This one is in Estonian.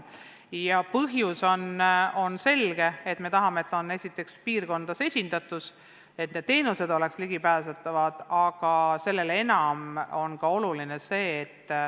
Ja põhjus on selge: me tahame, et eelkõige oleks piirkondades esindatus olemas, et need teenused oleks ligipääsetavad.